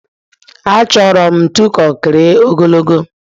Achọrọ m ntu konkiri ogologo